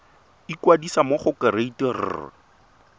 ikwadisa mo go kereite r